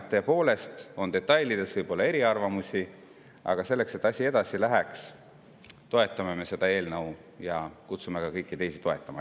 Tõepoolest võib detailides olla eriarvamusi, aga selleks, et asi edasi läheks, toetame me seda eelnõu ja kutsume ka kõiki teisi üles seda toetama.